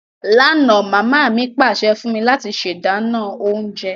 Lánà, mama mi pàsẹ fún mí láti se dánán ounje